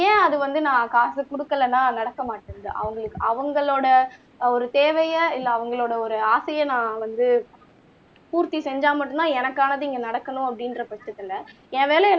ஏன் அது வந்து நான் காசு குடுக்கல்லன்னா நடக்கமாட்டேன்ங்குது அவங்களுக்கு அவங்களோட ஒரு தேவைய இல்ல அவங்களோட ஒரு ஆசைய நான் வந்து பூர்த்தி செஞ்சா மட்டும்தான் எனக்கானது இங்க நடக்கணும் அப்படிங்குற பட்சத்துல என் வேலை